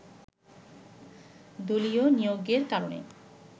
দলীয় নিয়োগের কারণে